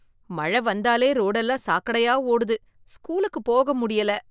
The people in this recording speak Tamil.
மழ வந்தாலே ரோடெல்லாம் சாக்கடையா ஓடுது ஸ்கூலுக்கு போக முடியல.